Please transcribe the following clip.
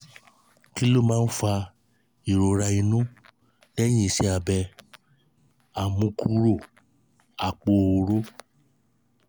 kí ló máa ń fa ìrora inu lehin ise abe amukuro apo orooro?